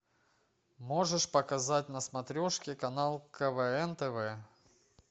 можешь показать на смотрешке канал квн тв